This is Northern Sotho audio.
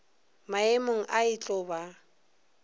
maemong a e tlo ba